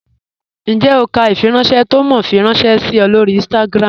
Ǹjẹ́ o kà ifìrànṣẹ̀ tó Mò fí rànṣẹ sí ọ̀ lọ́rí Instagram?